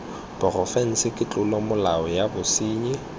porofense ke tlolomolao ya bosenyi